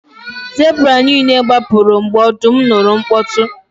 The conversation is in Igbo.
Zebra niile gbapụrụ mgbe ọdụm nụrụ mkpọtụ